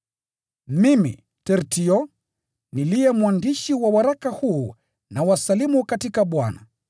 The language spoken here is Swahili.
Mimi, Tertio, niliye mwandishi wa waraka huu, nawasalimu katika Bwana.